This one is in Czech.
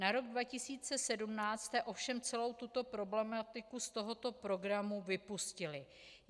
Na rok 2017 jste ovšem celou tuto problematiku z tohoto programu vypustili.